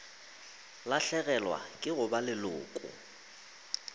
lahlegelwa ke go ba leloko